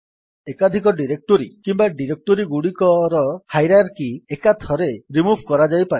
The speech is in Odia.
ଏକାଧିକ ଡିରେକ୍ଟୋରୀ କିମ୍ୱା ଡିରେକ୍ଟୋରୀଗୁଡିକର ହାଇରାର୍କି ଏକାଥରେ ରିମୁଭ୍ କରାଯାଇପାରେ